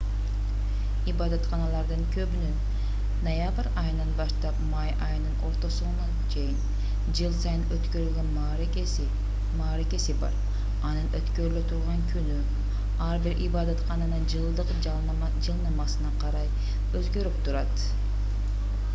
ибадатканалардын көбүнүн ноябрь айынан баштап май айынын ортосуна чейин жыл сайын өткөрүлгөн мааракеси бар анын өткөрүлө турган күнү ар бир ибадаткананын жылдык жылнаамасына карай өзгөрүп турат